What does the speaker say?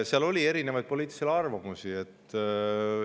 Seal oli erinevaid poliitilisi arvamusi.